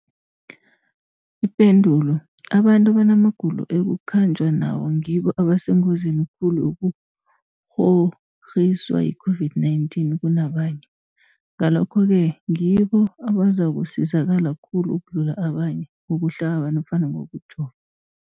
Ipendulo, abantu abanamagulo ekukhanjwa nawo ngibo abasengozini khulu yokukghokghiswa yi-COVID-19 kunabanye, Ngalokhu-ke ngibo abazakusizakala khulu ukudlula abanye ngokuhlaba nofana ngokujova.